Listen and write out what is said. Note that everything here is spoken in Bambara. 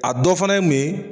A dɔ fana ye mun ye.